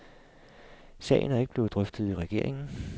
Sagen er ikke blevet drøftet i regeringen.